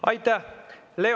Aitäh!